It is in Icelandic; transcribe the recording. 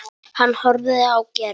Hann horfði á Gerði.